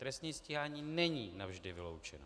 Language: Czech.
Trestní stíhání není navždy vyloučeno.